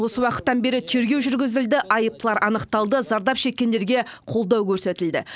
осы уақыттан бері тергеу жүргізілді айыптылар анықталды зардап шеккендерге қолдау көрсетілді